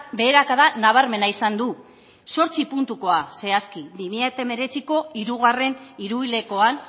beherakada nabarmena izan du zortzi puntukoa zehazki bi mila hemeretzi hirugarren hiruhilekoan